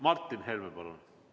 Martin Helme, palun!